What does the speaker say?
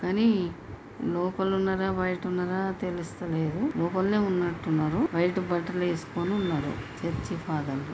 కానీ లోపల ఉన్నారా బయట ఉన్నారా తెలుస్తలేదులోపలనే ఉన్నట్టున్నారు బయట బట్టలు వేసుకొని ఉన్నారు చర్చి ఫాదర్ .